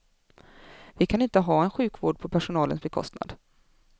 Vi kan inte ha en sjukvård på personalens bekostnad.